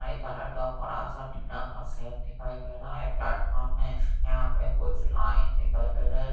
five colour का बड़ा सा ठीक ठाक सेट दिखाई दे रहा हैं प्लेटफार्म में यहाँ पे कुछ लाइन दिखाई दे रहा--